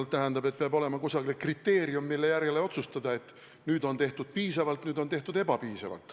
Kui seda kasutada, siis peab olema kriteerium, mille järgi otsustada, et nüüd on tehtud piisavalt, nüüd on tehtud ebapiisavalt.